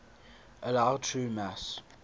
allow true mass